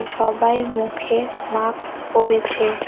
সবাই মুখে মাকস পরেছে।